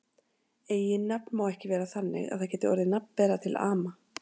Eiginnafn má ekki vera þannig að það geti orðið nafnbera til ama.